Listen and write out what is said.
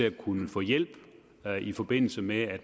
at kunne få hjælp i forbindelse med at